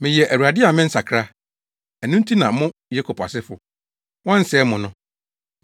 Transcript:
“Meyɛ Awurade a mennsakra. Ɛno nti na mo Yakob asefo, wɔnsɛee mo no.